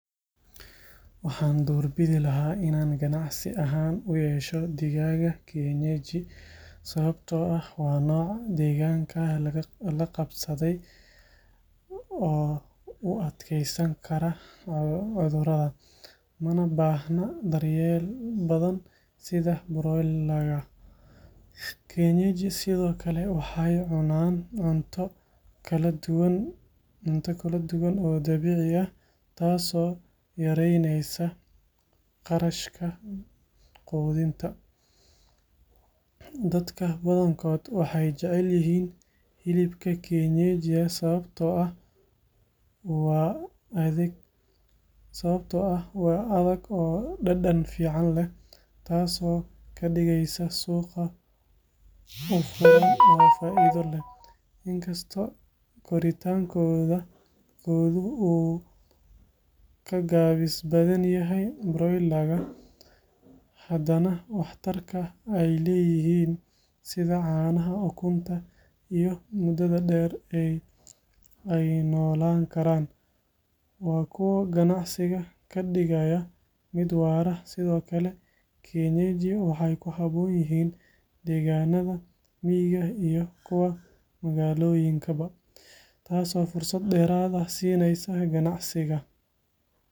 Waxaan doorbidi lahaa inaan ganacsi ahaan u yeesho digaagga kienyeji sababtoo ah waa nooc deegaanka la qabsaday oo u adkeysan kara cudurrada, mana baahna daryeel badan sida broiler-ka. Kienyeji sidoo kale waxay cunaan cunto kala duwan oo dabiici ah, taasoo yaraynaysa kharashka quudinta. Dadka badankood waxay jecel yihiin hilibka kienyeji sababtoo ah waa adag oo dhadhan fiican leh, taasoo ka dhigaysa suuqa u furan oo faa’iido leh. Inkastoo koritaankoodu uu ka gaabis badan yahay broiler-ka, haddana waxtarka ay leeyihiin, sida caanaha, ukunta, iyo muddada dheer ee ay noolaan karaan, waa kuwo ganacsiga ka dhigaya mid waara. Sidoo kale, kienyeji waxay ku habboon yihiin deegaanada miyiga iyo kuwa magaalooyinka ba, taasoo fursad dheeraad ah siinaysa ganacsiga.